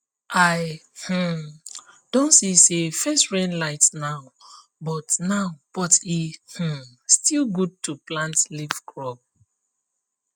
i um don see say first rain light now but now but e um still good to plant leaf crops